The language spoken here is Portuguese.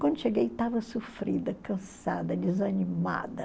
Quando cheguei, estava sofrida, cansada, desanimada.